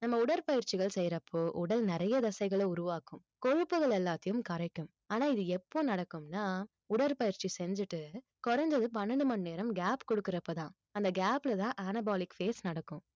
நம்ம உடற்பயிற்சிகள் செய்யறப்போ உடல் நிறைய தசைகளை உருவாக்கும் கொழுப்புகள் எல்லாத்தையும் கரைக்கும் ஆனா இது எப்போ நடக்கும்ன்னா உடற்பயிற்சி செஞ்சுட்டு குறைஞ்சது பன்னெண்டு மணி நேரம் gap குடுக்கறப்பதான் அந்த gap லதான் anabolic phase நடக்கும்